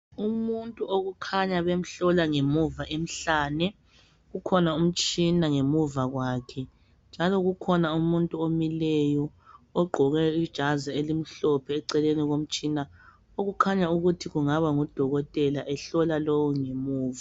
Umuntu okukhanya bemhlola ngemuva emhlane, ukhona umtshina ngemuva kwakhe njalo kukhona umuntu omileyo ogqoke ijazi elimhlophe eceleni komtshina okukhanya ukuthi kungaba ngudokotela ehlola lo ongemuva